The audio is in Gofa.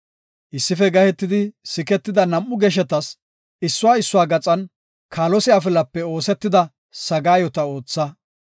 Issife gahetidi siketida nam7u geshetas issuwa issuwa gaxan kaalose afilape oosetida sagaayota ootha.